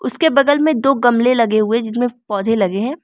उसके बगल में दो गमले लगे हुए जिसमें पौधे लगे हैं।